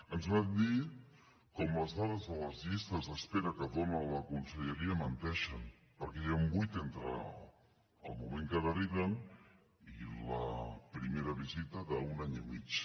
ens van dir com les dades de les llistes d’espera que dóna la conselleria menteixen perquè hi ha un buit entre el moment que deriven i la primera visita d’un any i mig